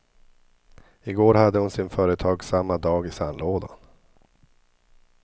I går hade hon sin företagsamma dag i sandlådan.